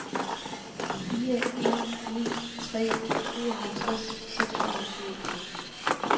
fire en ni tre syvoghalvtreds seks hundrede og syvogfyrre